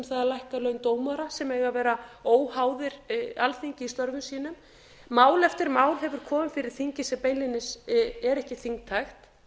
það að lækka laun dómara sem eiga að vera óháðir alþingi í störfum sínum mál eftir mál hefur komið fyrir þingið sem beinlínis er ekki þingtækt